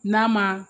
N'a ma